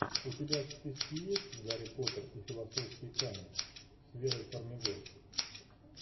у тебя в списке есть гарри поттер и философский камень с верой фармигой